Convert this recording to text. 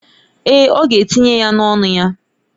Èè, ọ ga-etinye ya n’ọnụ ya.